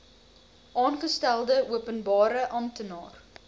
aangestelde openbare amptenaar